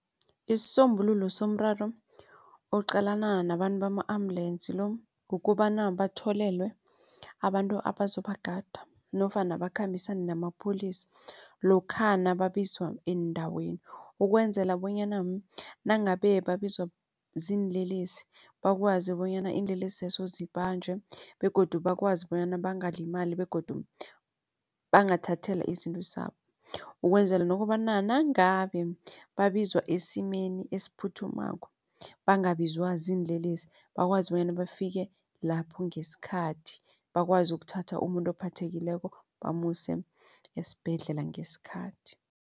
Isisombululo sinomraro oqalana nabantu bama-ambulance lo. Kukobana batholelwe abantu abazobagada nofana bakhambisane namapholisa lokha nababizwa eendaweni. Ukwenzela bonyana nangabe babizwa ziinlelesi bakwazi bonyana iinlelesi zibanjwe begodu bakwazi bonyana bangalimali begodu bangathathelwa izinto zabo ukwenzela nokobana nangabe babizwa esimeni esiphuthumako bangabizwa ziinlelesi bakwazi bonyana bafike lapho ngesikhathi bakwazi ukuthatha umuntu ophathekileko bamuse esibhedlela ngesikhathi.